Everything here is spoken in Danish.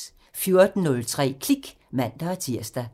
14:03: Klik (man-tir)